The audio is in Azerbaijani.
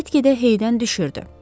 Get-gedə heydən düşürdü.